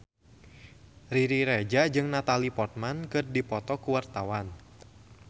Riri Reza jeung Natalie Portman keur dipoto ku wartawan